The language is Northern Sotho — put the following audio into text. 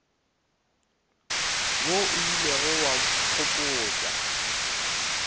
wo o ilego wa nkgopotša